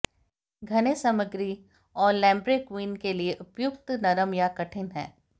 घने सामग्री और लैम्ब्रेक्विन के लिए उपयुक्त नरम या कठिन हैं